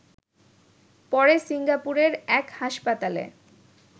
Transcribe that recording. পরে সিঙ্গাপুরের এক হাসপাতালে